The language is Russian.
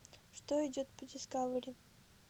что идет по дискавери